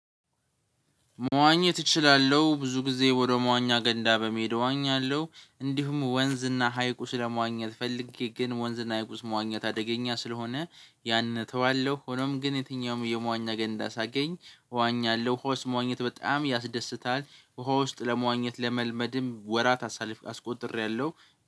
መዋኘት እችላለሁ ብዙ ጊዜ ወደ መዋኛ ገንዳ በመሄድ እዋኛለሁ እንዲሁም ወንዝና ሀይቁ ስለመዋኘት ፈልጌ ግን ወንዝና ሀይቁስ መዋኘት አደገኛ ስለሆነ ያን እተዋለሁ። ሆኖም ግን የትኛውም የመዋኛ ገንዳ ሳገኝ እዋኛለሁ ውሃ ውስጥ መዋኘት በጣም ያስደስታል። ውሃ ውስጥ ለመዋኘት ለመልመድም ወራት አሳልፌ አስቆጥሬያለሁ።